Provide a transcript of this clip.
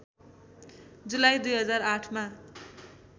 जुलाई २००८ मा